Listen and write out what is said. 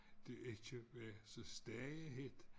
Det ikke var så stegehedt